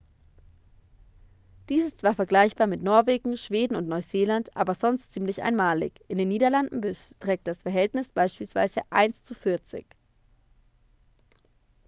dies ist zwar vergleichbar mit norwegen schweden und neuseeland aber sonst ziemlich einmalig in den niederlanden beträgt das verhältnis beispielsweise eins zu vierzig.